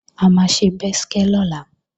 A máa ṣe bẹ́skẹ́ lọ́la